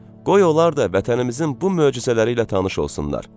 Qoy onlar da vətənimizin bu möcüzələri ilə tanış olsunlar.